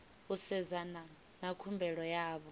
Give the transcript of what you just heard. u sedzana na khumbelo yavho